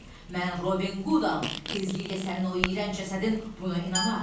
Mən Robin Qudam, tezliklə sənin o iyrənc cəsədin buna inanar.